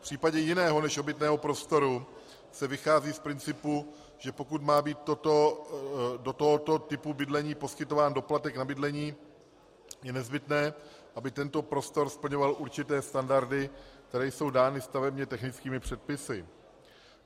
V případě jiného než obytného prostoru se vychází z principu, že pokud má být do tohoto typu bydlení poskytován doplatek na bydlení, je nezbytné, aby tento prostor splňoval určité standardy, které jsou dány stavebně technickými předpisy.